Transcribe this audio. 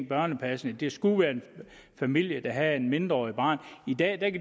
børnepasning det skulle være en familie der havde et mindreårigt barn i dag kan